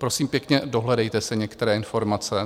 Prosím pěkně, dohledejte si některé informace.